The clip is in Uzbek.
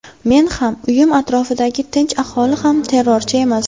Men ham, uyim atrofidagi tinch aholi ham terrorchi emas.